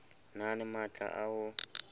na le matla a ho